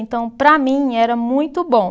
Então, para mim, era muito bom.